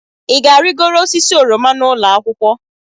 Ị ga-arịgoro osisi oroma n'ụlọ akwụkwọ?